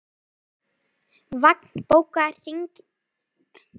Vagn, bókaðu hring í golf á laugardaginn.